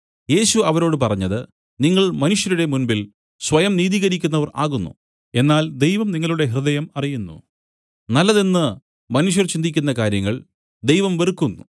യേശു അവരോട് പറഞ്ഞത് നിങ്ങൾ മനുഷ്യരുടെ മുൻപിൽ സ്വയം നീതീകരിക്കുന്നവർ ആകുന്നു എന്നാൽ ദൈവം നിങ്ങളുടെ ഹൃദയം അറിയുന്നു നല്ലതെന്ന് മനുഷ്യർ ചിന്തിക്കുന്ന കാര്യങ്ങൾ ദൈവം വെറുക്കുന്നു